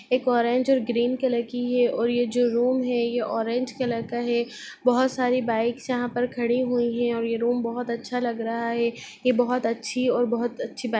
एक ऑरेंज और ग्रीन की कलर की है और ये जो रूम है ये ऑरेंज कलर का है बहोत सारी बाइक्स यहाँ पर खड़ी हुई है और ये रूम बहोत अच्छा लग रहा है ये बहोत अच्छी और बहोत अच्छी बाइक --